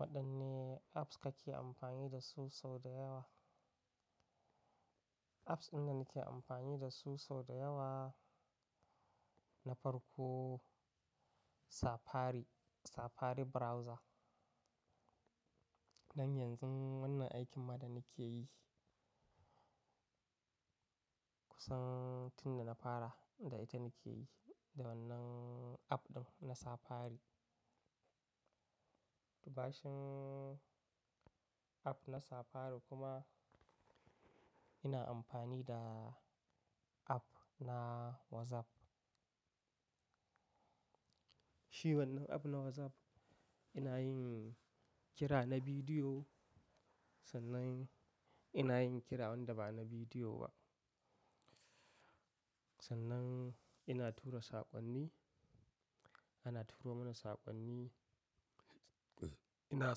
Waɗanne, apps kake amfani da su sau da yawa? Apps inda nake amfani da su sau da yawa, na farko Safari, Safari browser. Dan yanzun wannan aikin ma da nike yi kusan, tun da na fara, da ita nike yi da wannan app ɗin na Safari. Bacin, app na Safari kuma, ina amfani da, app na WhatsApp. Shi wannan app na WhatsApp, ina yin, kira na bidiyo sannan, ina yin kira wanda ba na bidiyo ba. Sannan, ina tura saƙonni, ana turo mana saƙonni, ina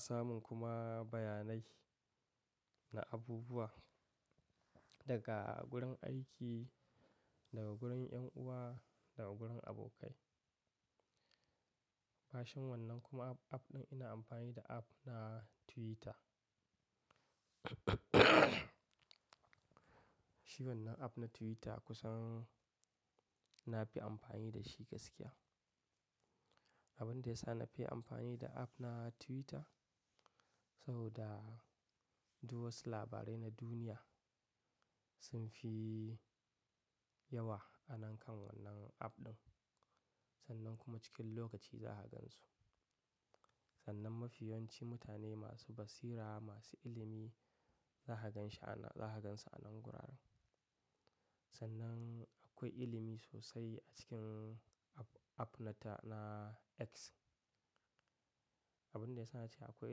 samun kuma bayanai, na abubuwa, daga gurin aiki, daga gurin 'yan uwa, daga gurin abokai. Bashin wannan kuma app, app ɗin ina amfani da app na Twitter. Shi wannan app na Twitter kusan na fi amfani da shi gaskiya. Abin da ya sa na fi amfani da app na Twitter, saboda, duwatsu labarai na duniya, sun fi yawa a nan kan wannan app ɗin. Sannan kuma cikin lokaci za ka gan su. Sannan mafiyanci mutane masu basira, masu ilimi za ka gan shi a nan, za ka gan su a nan gurara. Sannan akwai ilimi sosai a cikin app, app na ta, na X. Abin da ya sa na ce akwai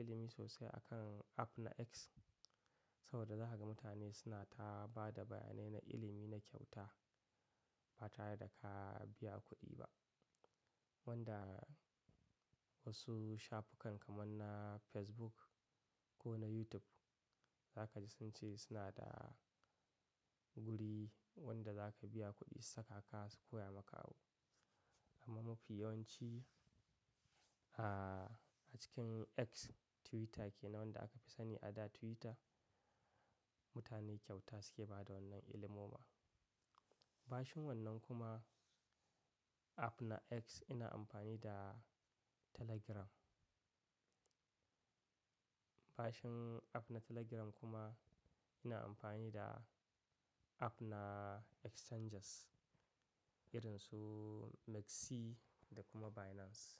ilimi sosai a kan app na X? Saboda za ka ga mutane suna ta ba da bayanai na ilimi, na kyauta ba tare da ka biya kuɗi ba. Wanda, wasu shafukan kaman na Facebook, ko na YouTube, za ka ji sun ce suna da guri wanda za ka biya kuɗi su saka ka su koya maka abu. Amma mafi yawanci, ah, a cikin X, Twitter ke nan wanda aka fi sani a da Twitter, mutane kyauta suke bada wannan ilimoma. Bashin wannan kuma app na X ina amfani da Telegram. Bashin, app na Telegram kuma, ina amfani da app na exchanges irin su MEXC da kuma Binance.